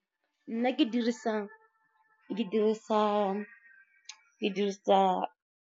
Nna ke dirisa.